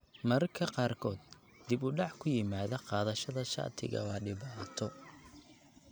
Mararka qaarkood, dib u dhac ku yimaada qaadashada shatiga waa dhibaato.